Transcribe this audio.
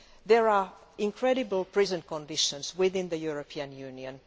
There are incredible prison conditions within the European Union.